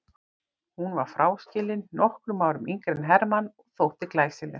Hún var fráskilin, nokkrum árum yngri en Hermann og þótti glæsileg.